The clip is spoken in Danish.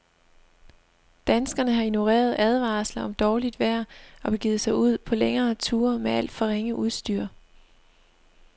Danskerne har ignoreret advarsler om dårligt vejr og begivet sig ud på længere ture med alt for ringe udstyr.